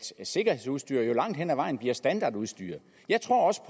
sikkerhedsudstyr langt hen ad vejen bliver standardudstyr jeg tror også